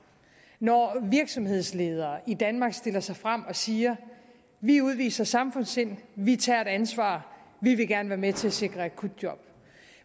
når virksomhedsledere i danmark stiller sig frem og siger vi udviser samfundssind vi tager et ansvar vi vil gerne være med til at sikre akutjob